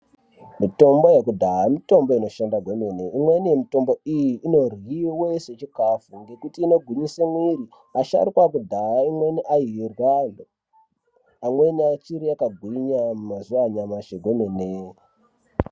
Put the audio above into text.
Mitombo yekudhaya mitombo inoshanda kwemene imweni yemitombo iyi inoryiwa sechikafu nekuti inogwinyisa mwiri asharukwa ekudhaya amweni airya amweni anenge akagwinya mazuva anyamashi emene.